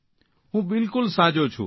હું બિલકુલ સાજો છું